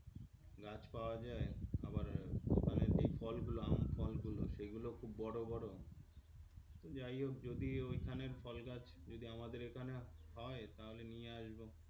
গাছ পাওয়া যায় আবার ওখানে যে ফলগুলো আম ফল গুলো সেইগুলো খুব বড়ো বড়ো যাইহোক যদি ওইখানের ফলগাছ যদি আমদের এইখানে হয় তাহলে নিয়ে আসব.